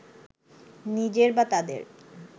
নিজের বা তাঁদের